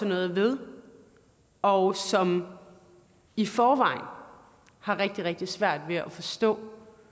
noget ved og som i forvejen har har rigtig rigtig svært ved at forstå